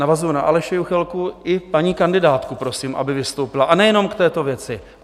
Navazuji na Aleše Juchelku i paní kandidátku, prosím, aby vystoupila, a nejenom k této věci.